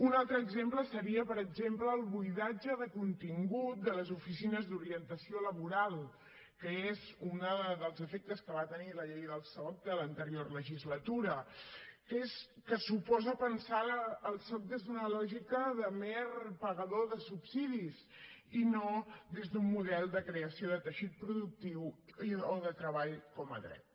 un altre exemple seria per exemple el buidatge de contingut de les oficines d’orientació laboral que és un dels efectes que va tenir la llei del soc de l’anterior legislatura que suposa pensar el soc des d’una lògica de mer pagador de subsidis i no des d’un model de creació de teixit productiu o de treball com a dret